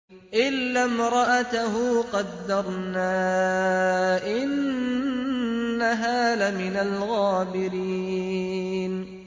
إِلَّا امْرَأَتَهُ قَدَّرْنَا ۙ إِنَّهَا لَمِنَ الْغَابِرِينَ